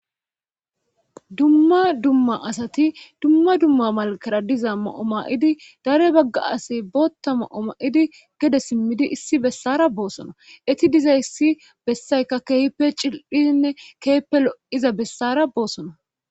dumma dumma asati dumma dumma malakara diza ma7o ma7idi dare bagga asi bootta ma7o ma7idi gede simmidi issi bessara boossona eti diza issi bessaykka keepe cil7hiinne keeppe lo7iza bessara boosona